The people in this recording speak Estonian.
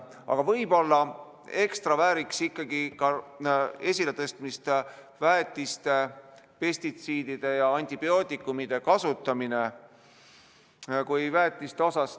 Aga võib-olla vääriks ekstra esiletõstmist väetiste, pestitsiidide ja antibiootikumide kasutamine.